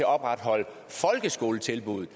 opretholde folkeskoletilbuddet